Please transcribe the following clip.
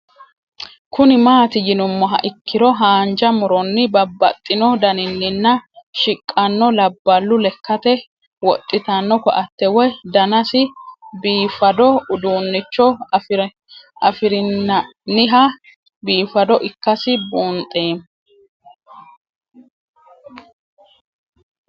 Kuni mati yinumoha ikiro hanja muroni babaxino daninina shiqano labalu lekate woxitano koate woyi danasi bifado udunicho afirina'nniha bifado ikasi bunxemo